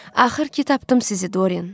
Axır ki tapdım sizi, Dorien.